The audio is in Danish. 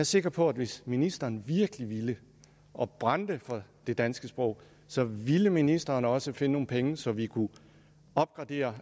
sikker på at hvis ministeren virkelig ville og brændte for det danske sprog så ville ministeren også finde nogle penge så vi kunne opgradere